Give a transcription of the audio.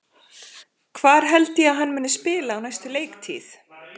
Hvar held ég að hann muni spila á næstu leiktíð?